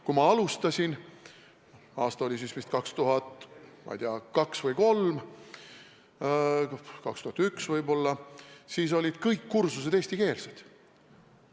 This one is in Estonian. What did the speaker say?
Kui ma alustasin, aasta oli siis vist 2002 või 2003, võib-olla 2001, siis olid kõik kursused eestikeelsed.